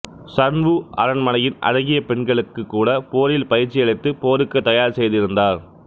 Sun Wu அரண்மனையின் அழகிய பெண்களுக்குக் கூட போரில் பயிற்சியளித்து போருக்குத் தயார் செய்திருந்தார்